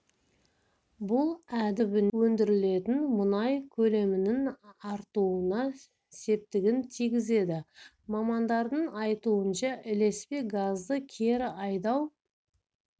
бұл әдіс теңіз түбінен өндірілетін мұнай көлемінің артуына септігін тигізеді мамандардың айтуынша ілеспе газды кері айдау